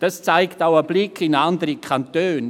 Dies zeigt auch ein Blick in andere Kantone: